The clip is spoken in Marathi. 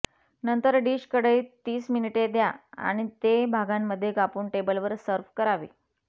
नंतर डिश कढईत तीस मिनिटे द्या आणि ते भागांमध्ये कापून टेबलवर सर्व्ह करावे